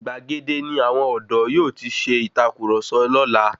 Gbàgede ní àwọn ọdọ yóò tí ṣe ìtàkurọ̀sọ lọ́la.